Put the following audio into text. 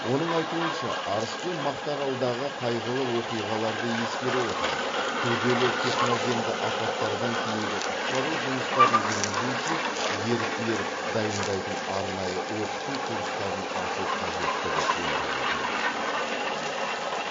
оның айтуынша арыс пен мақтааралдағы қайғылы оқиғаларды ескере отырып күрделі техногенді апаттардан кейінгі құтқару жұмыстарын жүргізу үшін еріктілер дайындайтын арнайы оқыту курстарын ашу қажеттігі туындап отыр